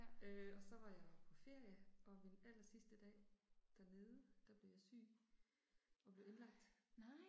Øh og så var jeg jo på ferie og min allersidste dag dernede, der blev jeg syg. Og blev indlagt